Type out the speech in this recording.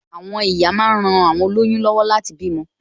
Àwọn ìyá máa ń ran awon oloyun lọwọ láti bímọ